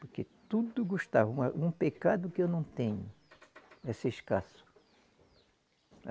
Porque tudo gostavam, uma um pecado que eu não tenho é ser escasso.